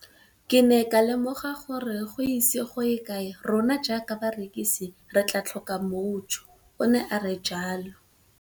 Ke ne ka lemoga gore go ise go ye kae rona jaaka barekise re tla tlhoka mojo, o ne a re jalo.